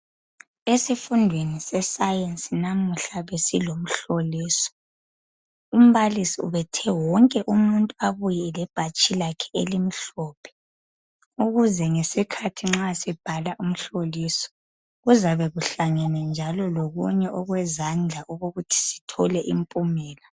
Isifundweni se science namuhla besilomhloliso umbalisi ubethe wonke umuntu abuye le bhatshi lakhe elimhlophe ukuze ngesikhathi nxa sibhala umhloliso kuzabe kuhlangene njalo lokunye owezandla ukokuthi sithole impumela